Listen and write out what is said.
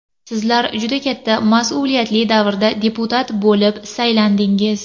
Sizlar juda katta mas’uliyatli davrda deputat bo‘lib saylandingiz.